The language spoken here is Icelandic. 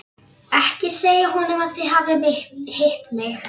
Ekki segja honum að þið hafið hitt mig.